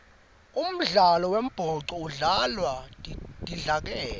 umdlalo wembhoco udlalwa tidlakela